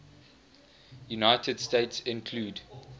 united states include